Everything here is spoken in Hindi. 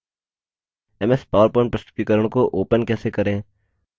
ms powerpoint प्रस्तुतिकरण को open कैसे करें